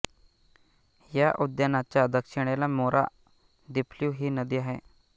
या उद्यानाच्या दक्षिणेला मोरा दिफ्लु ही नदी आहे